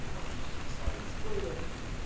ну фактически странный спойлер